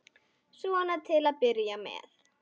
Svona til að byrja með.